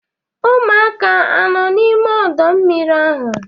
Ụmụaka anọ n'ime ọdọ mmiri ahụ?